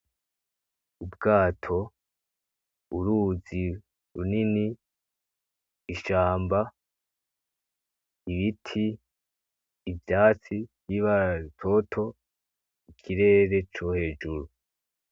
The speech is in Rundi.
Ubwato, uruzi runini ,ishamba, ibiti , ivyatsi vyibara rutoto ikirere co hejuru .